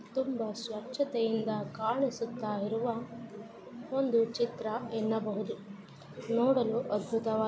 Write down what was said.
ತುಂಬಾ ಸ್ವಚ್ಛತೆಯಿಂದ ಕಾಣಿಸುತ್ತಾ ಇರುವ ಒಂದು ಚಿತ್ರ ಎನ್ನಬಹುದು ನೋಡಲು ಅದ್ಭುತ--